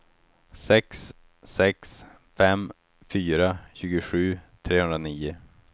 sex sex fem fyra tjugosju trehundranio